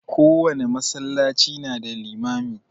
Kowane masallaci na da limami.